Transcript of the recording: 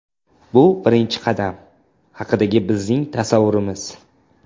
Bu birinchi qadam haqidagi bizning tasavvurimiz.